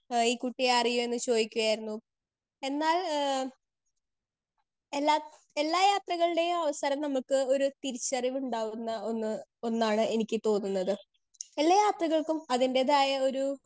speaker 2 എഹ് ഈ കുട്ടിയെ അറിയോന്ന് ചോയിക്കായിരുന്നു എന്നാൽ ഏഹ് എല്ലാ എല്ലാ യാത്രകളുടെയും അവസരം നമ്മുക്ക് ഒരു തിരിച്ചറിവ്വ് ഉണ്ടാവുന്ന ഒന്ന് ഒന്നാണ് എനിക്ക് തോന്നുന്നത് എല്ലാ യാത്രകൾക്കും അതിന്റെതായ ഒരു